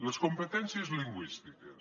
les competències lingüístiques